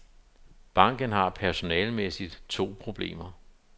Banken har personalemæssigt to problemer.